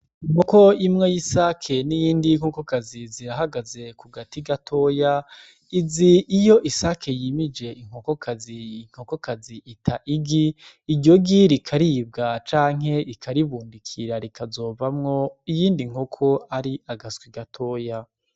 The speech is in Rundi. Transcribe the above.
Nkoko imwe y'isake ni iyindi nkokokazi zirahagaze ku gati gatoya izi iyo isake yimije inkokokazi inkokokazi ita igi iryogi rikaribwa canke ikaribumbikira rikazovamwo iyindi nkoko ari agaswi gatoya.